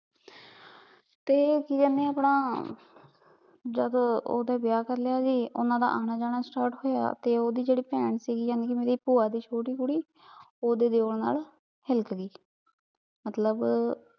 ਫੇਰ ਕੀ ਕਹਨੀ ਆਪਣਾ ਜਦੋਂ ਓਹਦੇ ਵਿਯਾਹ ਕਰ ਲਾਯਾ ਜੀ ਓਹਨਾਂ ਦਾ ਆਨਾ ਜਾਣਾ start ਹੋਯਾ ਤੇ ਓਹਦੀ ਜੇੜ੍ਹੀ ਪੈਣ ਸੀਗੀ ਯਾਨੀ ਮੇਰੀ ਪੁਆ ਦੀ ਛੋਟੀ ਕੁੜੀ ਓਹਦੇ ਦੇਵੋਰ ਨਾਲ ਹਿਲਕ ਗਈ ਮਤਲਬ